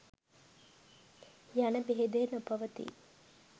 යන භේදය නොපවතී.